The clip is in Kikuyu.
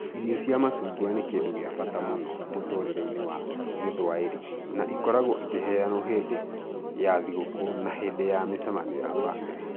Irio cia macungwa nĩ kĩndũ kĩa bata mũno mũtũũrĩre-inĩ wa Gĩthwaĩri na ikoragwo ikĩheyanwo hĩndĩ ya thigũkũ na hĩndĩ ya mĩcemanio ya bamĩrĩ.